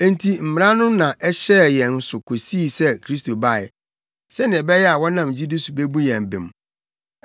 Enti Mmara no na ɛhyɛɛ yɛn so kosii sɛ Kristo bae, sɛnea ɛbɛyɛ a wɔnam gyidi so bebu yɛn bem.